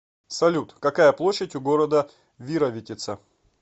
салют какая площадь у города вировитица